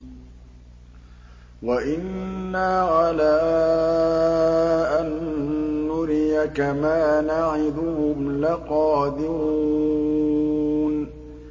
وَإِنَّا عَلَىٰ أَن نُّرِيَكَ مَا نَعِدُهُمْ لَقَادِرُونَ